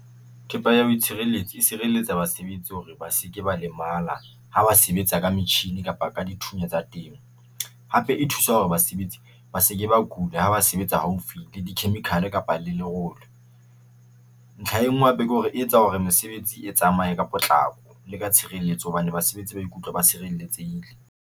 Thepa ya ho itshireletsa e sireletsa basebetsi hore ba se ke ba lemala ha ba sebetsa ka metjhini kapa ka dithunya tsa teng, hape e thusa hore basebetsi ba se ke ba kula ha ba sebetsa haufi le di-chemical kapa le lerolo. Ntlha e ngwe hape ke hore e etsa hore mesebetsi e tsamaye ka potlako le ka tshireletso hobane basebetsi ba ikutlwa ba sireletsehile.